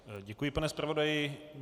Děkuji, pane zpravodaji.